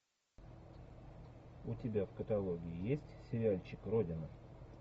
у тебя в каталоге есть сериальчик родина